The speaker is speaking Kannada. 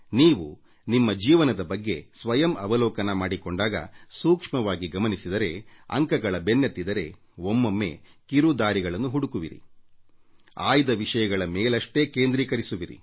ನೀವು ನಿಮ್ಮ ಜೀವನದ ಬಗ್ಗೆ ಸ್ವಯಂ ಅವಲೋಕನ ಮಾಡಿಕೊಂಡಾಗ ಸೂಕ್ಷ್ಮವಾಗಿ ಗಮನಿಸಿದರೆ ಅಂಕಗಳ ಬೆನ್ನತ್ತಿದರೆ ಒಮ್ಮೊಮ್ಮೆ ಕಿರು ದಾರಿಗಳನ್ನು ಹುಡುಕುವಿರಿ ಆಯ್ದ ವಿಷಯಗಳ ಮೇಲಷ್ಟೇ ಕೇಂದ್ರೀಕರಿಸುವಿರಿ